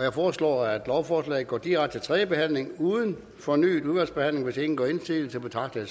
jeg foreslår at lovforslaget går direkte til tredje behandling uden fornyet udvalgsbehandling hvis ingen gør indsigelse betragter